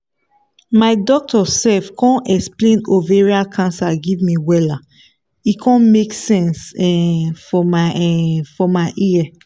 my doctor sef con explain ovarian cancer give me wella e con make sense um for my um for my ear